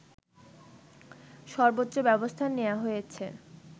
সর্বোচ্চ ব্যবস্থা নেয়া হয়েছে